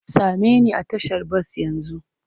Same ni a tashar bas yanzu!